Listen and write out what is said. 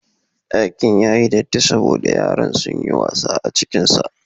Ɗakin ya yi datti saboda yaran sun yi wasa a cikinsa.